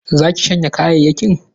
Za ki shanya kayayyakin?